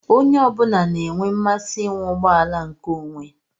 Onye ọ bụla n'enwe mmasị inwe ụgbọala nke onwé.